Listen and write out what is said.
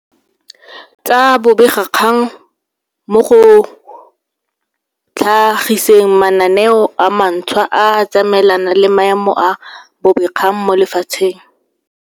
Tsa bobegakgang mo go tlha giseng mananeo a mantšhwa a a tsamaelanang le maemo a bobegakgang mo lefatsheng.